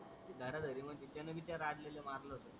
धरा धारी मध्ये त्याने विद्या राजलेले मारल होत.